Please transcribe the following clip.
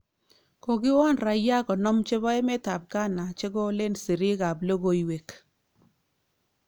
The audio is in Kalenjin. Kokiwon raia konom chebo emet ab Ghana chekolen siriik ab logoiwek